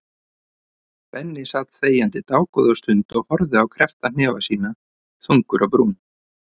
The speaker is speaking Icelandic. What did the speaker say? Benni sat þegjandi dágóða stund og horfði á kreppta hnefa sína, þungur á brún.